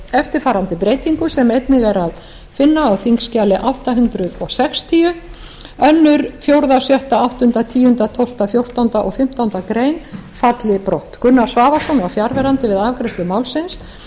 eftirfarandi breytingu sem einnig er að finna á þingskjali átta hundruð sextíu annars fjórða sjötta áttunda tíunda tólfta fjórtánda og fimmtándu grein falli brott gunnar svavarsson var fjarverandi við afgreiðslu málsins